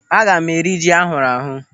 Aga m eri ji ahụrụ ahụ